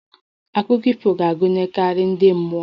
Akụkọ ifo ga-agụnyekarị ndi mmụọ